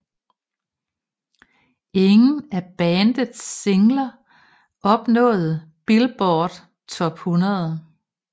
Ingen af bandets singler nåede Billboard Top 100